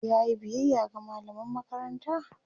yayi biyaya ga mallaman makaranta?